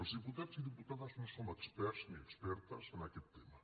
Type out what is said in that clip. els diputats i diputades no som experts ni expertes en aquest tema